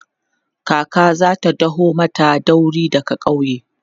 kaka zata daho mata dauri daga ƙauye